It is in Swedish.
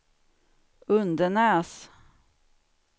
Undenäs